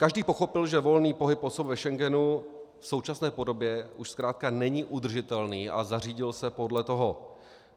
Každý pochopil, že volný pohyb osob v Schengenu v současné podobě už zkrátka není udržitelný, a zařídil se podle toho.